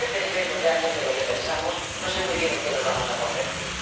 Si no defendemos realmente lo que pensamos, no sé muy bien en qué nos vamos a convertir.